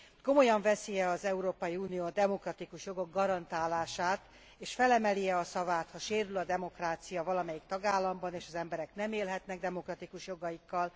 Komolyan veszi e az Európai Unió a demokratikus jogok garantálását, és felemeli e a szavát, ha sérül a demokrácia valamelyik tagállamban, és az emberek nem élhetnek demokratikus jogaikkal?